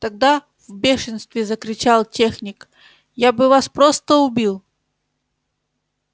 тогда в бешенстве закричал техник я бы вас просто убил